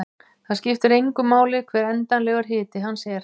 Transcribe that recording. Það skiptir engu máli hver endanlegur hiti hans er.